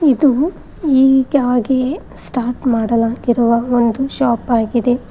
ಇದು ಈಗಾಗಿ ಸ್ಟಾಟ್ ಮಾಡಲಾಗಿರುವ ಒಂದು ಶಾಪ್ ಆಗಿದೆ.